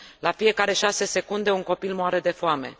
La fiecare 6 secunde, un copil moare de foame.